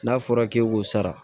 N'a fɔra k'e k'o sara